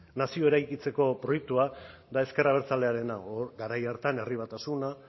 nazioa eraikitzeko proiektua da ezker abertzalearena garai horretan herri batasuna